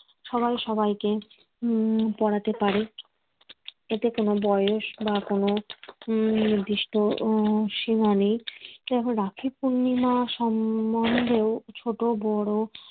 সবাই সবাইকে উম পরাতে পারে এতে কোন বয়স বা কোন উম নির্দিষ্ট উম সীমা নেই। কিন্তু রাখি পূর্ণিমার সম্বন্ধে ছোট বড়